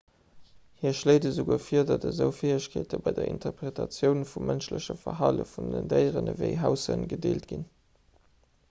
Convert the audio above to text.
hie schléit esouguer vir datt esou fäegkeete bei der interpretatioun vum mënschleche verhale vun déieren ewéi haushënn gedeelt ginn